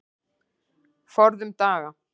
Forðum daga.